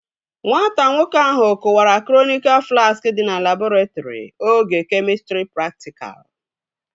Nwata nwoke ahụ kụwara kronika flaski dị na labọretrị oge kemịstrị praktikal